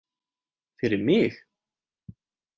Fyrir mig?